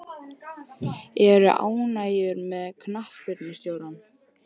Ertu ánægður með knattspyrnustjórann?